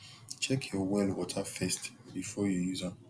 check your well water first before you use am